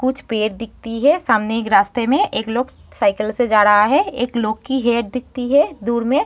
कुछ पेड़ दिखती है। सामने एक रास्ते में एक लोग साइकिल से जा रहा है। एक लोग की हेयर दिखती है दूर में।